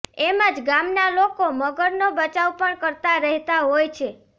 એમજ ગામના લોકો મગરનો બચાવ પણ કરતા રહેતા હોય છે